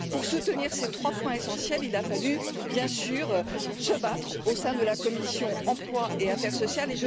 Pour soutenir ces trois points essentiels, il a fallu, bien sûr, se battre au sein de la commission de l'emploi et des affaires sociales.